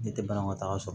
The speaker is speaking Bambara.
Ne tɛ banakɔtaga sɔrɔ